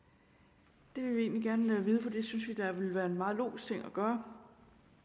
det vil vi egentlig gerne vide for det synes vi da ville være en meget logisk ting at gøre